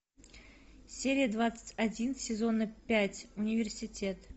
серия двадцать один сезона пять университет